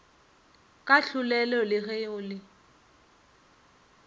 kahlolelo le ge go le